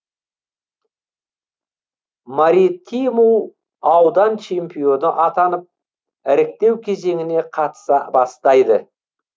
маритиму аудан чемпионы атанып іріктеу кезеңіне қатыса бастайды